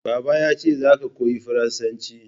Baba yace "Za ka koyi Faransanci!"